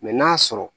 Mɛ n'a sɔrɔ